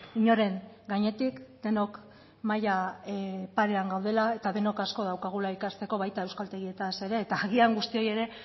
inoren gainetik denok maila parean gaudela eta denok asko daukagula ikasteko baita euskaltegietaz ere eta agian guztioi ere